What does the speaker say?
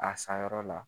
A san yɔrɔ la